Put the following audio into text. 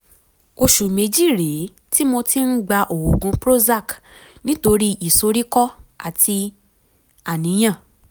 oṣù méjì rèé tí mo ti ń gba oògùn prozac nítorí ìsoríkọ́ àti àníyàn